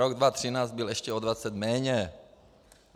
Rok 2013 byl ještě o 20 méně.